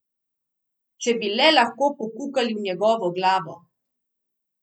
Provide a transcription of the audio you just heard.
Če bi le lahko pokukali v njegovo glavo!